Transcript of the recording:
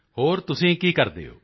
ਹੋਰ ਤੁਸੀਂ ਕੀ ਕਰਦੇ ਹੋ